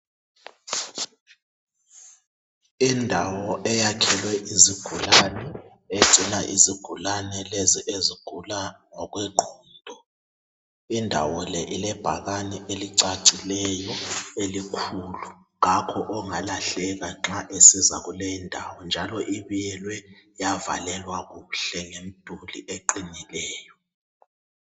Indawo eyakhelwe izigulane egcina izigulane lezi ezigula ngokwe ngqondo .Indawo le ile bhakane elicacileyo elikhulu .Kakho ongalahleka nxa esiza kule indawo njalo ibiyelwe yavalelwa kuhle ngemduli eqinileyo .